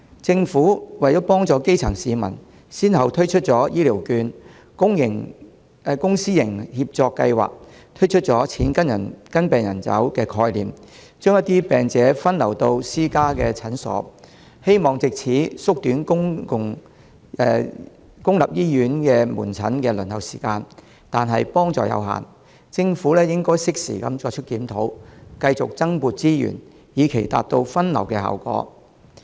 政府為幫助基層市民，先後推出醫療券、公私營協作計劃，推出"錢跟病人走"的概念，將一些病者分流到私家診所，希望藉此縮短公立醫院門診的輪候時間，但幫助有限；政府應適時作出檢討，繼續增撥資源，以達到分流效果。